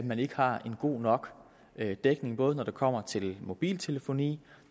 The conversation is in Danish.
man ikke har en god nok dækning både når det kommer til mobiltelefoni